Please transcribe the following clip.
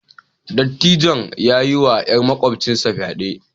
Dattijon ya yiwa 'yar makwabcinsa fyade